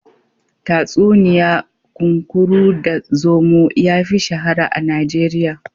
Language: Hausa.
Tatsuniya kunkuru da zomo yafi shahara a Najeriya.